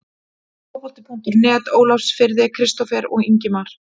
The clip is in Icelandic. Fótbolti.net Ólafsfirði- Kristófer og Ingimar